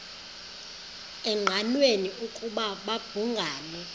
engqanweni ukuba babhungani